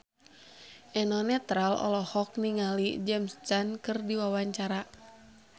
Eno Netral olohok ningali James Caan keur diwawancara